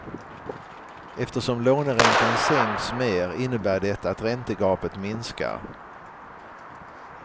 Eftersom låneräntan sänks mer innebär det att räntegapet minskar.